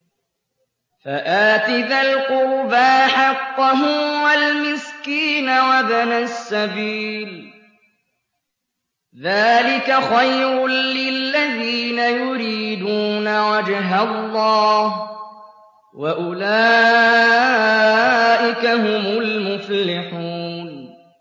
فَآتِ ذَا الْقُرْبَىٰ حَقَّهُ وَالْمِسْكِينَ وَابْنَ السَّبِيلِ ۚ ذَٰلِكَ خَيْرٌ لِّلَّذِينَ يُرِيدُونَ وَجْهَ اللَّهِ ۖ وَأُولَٰئِكَ هُمُ الْمُفْلِحُونَ